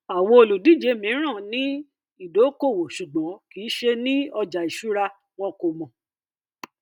àwọn olùdíje mìíràn ní ìdókóòwò ṣùgbọn kìí ṣe ní ọjà ìṣura wọn kò mọ